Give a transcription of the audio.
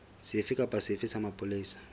sefe kapa sefe sa mapolesa